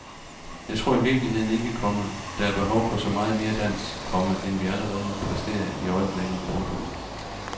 Jeg tror i virkeligheden ikke, komma der er behov for så meget mere dans, komma end vi allerede præsterer i øjeblikket. punktum